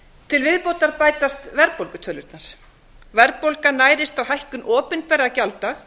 til viðbótar bætast verðbólgutölurnar verðbólgan nærist á hækkun opinberra gjalda